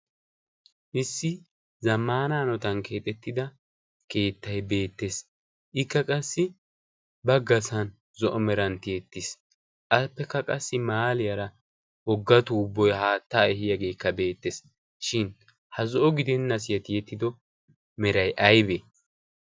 issi zammaana hanotan keexettida keettai beettees. ikka qassi baggasan zo'o merantti ettiis appekka qassi maaliyaara ogetu haattaa ehiyaageekka beettees. shin ha zo'o gidenna si hetiyettido meray aibee?